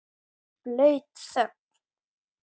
Blaut þögn.